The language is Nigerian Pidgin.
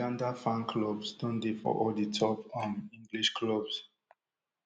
uganda fan clubs don dey for all di top um english clubs